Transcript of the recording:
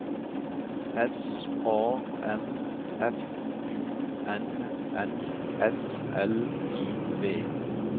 S A M F U N N S L I V